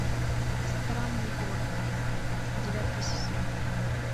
странный город девятый сезон